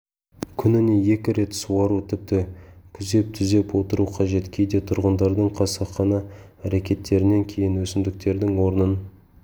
күніне екі рет суару тіпті күзеп-түзеп отыру қажет кейде тұрғындардың қасақана әрекеттерінен кейін өсімдіктердің орнын